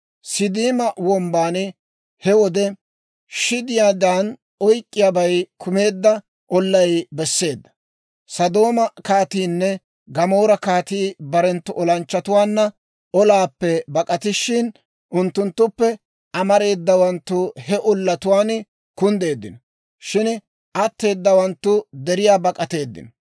Siiddima Wombban he wode, shidiyaadan oyk'k'iyaabay kumeedda ollay besseedda; Sodooma kaatiinne Gamoora kaatii barenttu olanchchatuwaanna olaappe bak'atishin, unttunttuppe amareedawanttu he ollatuwaan kunddeeddino; shin atteedawanttu deriyaa bak'ateeddino.